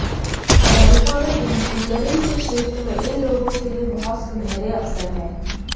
America में engineering के क्षेत्र में इन लोगों के लिए बहुत सुनहरे अवसर हैं